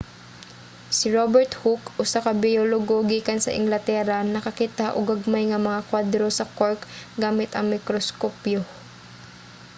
si robert hooke usa ka biologo gikan sa inglatera nakakita og gagmay nga mga kwadro sa cork gamit ang mikroskopyo